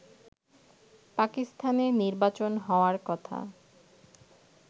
পাকিস্তানে নির্বাচন হওয়ার কথা